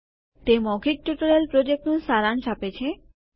તે મૌખિક ટ્યુટોરીયલ પ્રોજેક્ટનું સારાંશ આપે છે